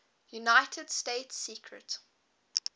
united states secret